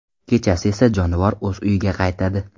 Kechasi esa jonivor o‘z uyiga qaytadi.